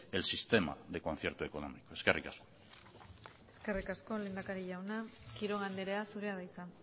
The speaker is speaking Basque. el sistema del concierto económico eskerrik asko eskerrik asko lehendakari jauna quiroga andrea zurea da hitza